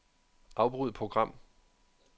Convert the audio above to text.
Afbryd program.